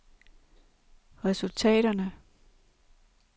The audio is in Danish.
resultaterne